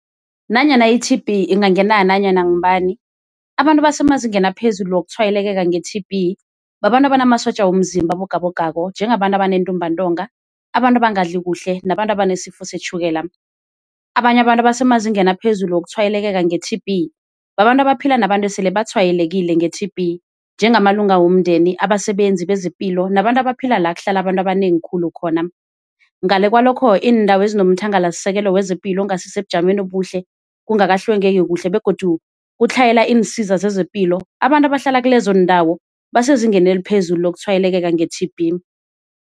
Nanyana i-T_B ingangena nanyana ngubani abantu abasemazingeni aphezulu wokutshwayelekeka nge-T_B babantu abanamasotja womzimba abogabogako njengabantu abanentumbantonga, abantu abangadli kuhle nabantu abanesifo setjhukela. Abanye abantu abasemazingeni aphezulu wokutshwayelekeka nge-T_B babantu abaphila nabantu esele batshweyelekile nge-T_B njengamalunga womndeni, abasebenzi bezepilo nabantu abaphila la kuhlala abantu abanengi khulu khona. Ngale kwalokho iindawo ezinomthangalasisekelo wezepilo ongasisebujameni obuhle kungakahlwengeki kuhle begodu kutlhayela iinsiza zezepilo abantu abahlala kilezo ndawo basezingeni eliphezulu lokutshwayelekeka nge-T_B.